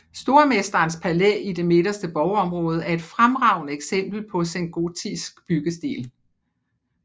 Stormesterens palæ i det midterste borgområde er et fremragende eksempel på sengotisk byggestil